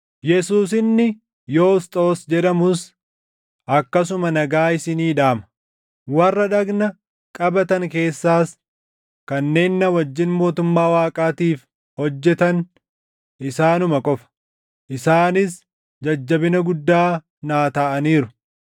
Yesuus inni Yoosxoos jedhamus akkasuma nagaa isinii dhaama. Warra dhagna qabatan keessaas kanneen na wajjin mootummaa Waaqaatiif hojjetan isaanuma qofa; isaanis jajjabina guddaa naa taʼaniiru.